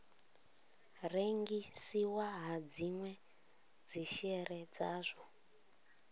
rengisiwa ha dzinwe dzishere dzawo